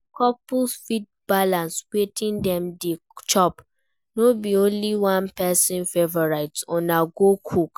Di couple fit balance wetin dem dey chop, no be only one person favourite una go cook